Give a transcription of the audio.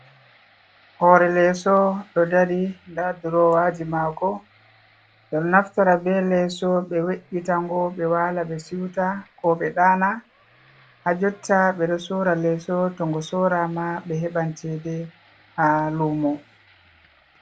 Horee leso ɗo dari nda durowaji mako, ɓebɗo naftira be leso ɓe we’’itango ɓe wala, ɓe siuta, ko ɓe ɗana ha jotta ɓe ɗo sora leeso to ngo sora ma ɓe heɓan cede ha lumo.